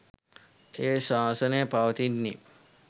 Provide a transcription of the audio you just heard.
ඒ ශාසනය පවතින්නේත්